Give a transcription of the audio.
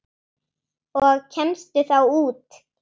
Og kemstu þá út?